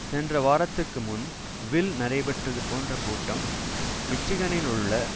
சென்ற வாரத்திற்கு முன் வில் நடைபெற்றது போன்ற கூட்டம் மிச்சிகனிலுள்ள